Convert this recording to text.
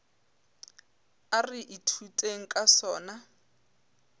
a re ithuteng ka sona